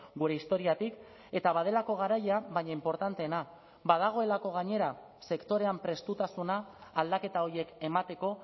gure historiatik eta badelako garaia baina inportanteena badagoelako gainera sektorean prestutasuna aldaketa horiek emateko